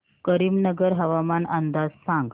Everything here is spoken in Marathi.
करीमनगर हवामान अंदाज सांग